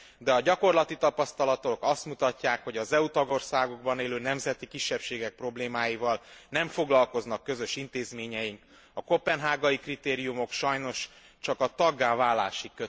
De a gyakorlati tapasztalatok azt mutatják, hogy az EU tagországokban élő nemzeti kisebbségek problémáival nem foglalkoznak közös intézményei, a koppenhágai kritériumok sajnos csak a taggá válásig kötelezőek.